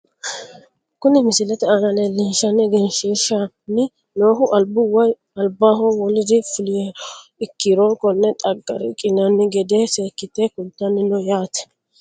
Kuni misilete aana leelishaninna egenshshiishani noohu albu woyi albaho woliri fuliha ikiro kone xagga riqinani gede seekite kultani no yaate.